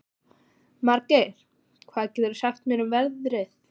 Margeir, hvað geturðu sagt mér um veðrið?